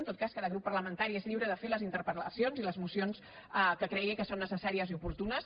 en tot cas cada grup parlamentari és lliure de fer les interpellacions i les mocions que cregui que són necessàries i oportunes